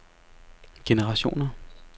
generationer